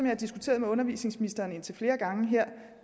har diskuteret med undervisningsministeren indtil flere gange her